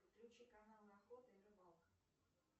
включи канал охота и рыбалка